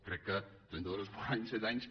crec que trenta dos esborranys set anys